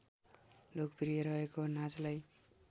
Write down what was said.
लोकप्रिय रहेको नाचलाई